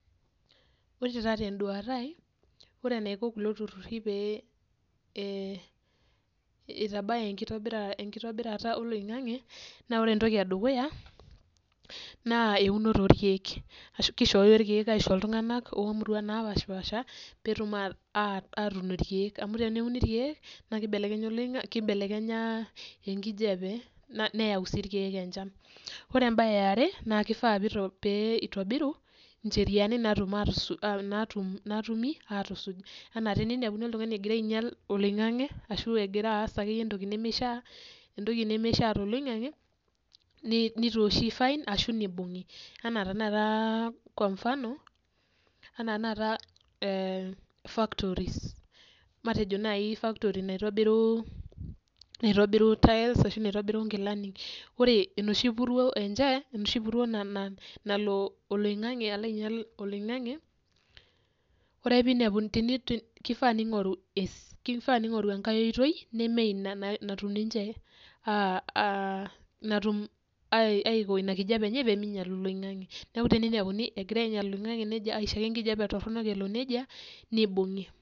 Wore taa tenduata ai, wore enaiko kulo turruri pee eitabaya enkitobirata oloingange, naa wore entoki endukuya, naa eunore oorkiek. Ashu kishooyo irkiek aisho iltunganak loomuruan napashpaasha, peetum aatun irkiek, amu teneuni irkiek naa kibelekenya oloingange, kibelekenya enkijape, neyau sii irkiek enchan. Wore embaye eare, na kifaa pee itobiru incheriani naatumi aatusuj. Enaa teniniapuni oltungani ekira ainyial oloingange ashu ekira aas akeyie entoki nemeishaa, entoki nemeishaa toloingange, nitooshi fine ashu ibungi. Enaa tanakata kwa mfano, enaa tenakata factories. Matejo naii factory naitobiru tiles ashu naitobiru inkilani. Wore enoshi puruo enche, enoshi puruo nalo oloingange alo ainyial oloingange, wore ake pee iniapuni kifaa ningoru enkae oitoi neme inia natum ninche, aiko inia kijape enye pee miinyial oloingange. Neeku teniniapuni ekira ainyial oloingange nejia aisho ake enkijape toronok ele nejia, nibungi.